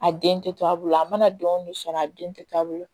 A den tɛ to a bolo a mana don so a den tɛ to a bolo